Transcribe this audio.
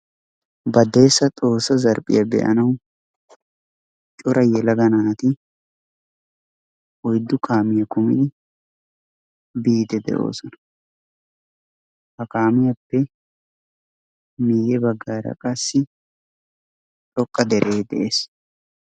Badeessa xoossa zarphiya be'anawu cora yelaga naati oyddu kaamiya kumidi biiddi de'oosona. ha kaamiyappe miyye baggaara qassi xoqqa deree de'ees.